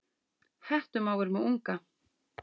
Hettumávur með unga.